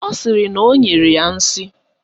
Ọ sịrị na o nyere ya nsị